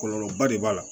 Kɔlɔlɔba de b'a la